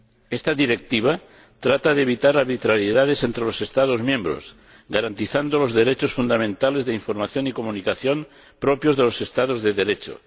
Esta Directiva trata de evitar arbitrariedades entre los Estados miembros, garantizando los derechos fundamentales de información y comunicación propios de los Estados de Derecho.